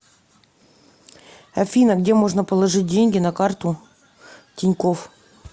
афина где можно положить деньги на карту тинькофф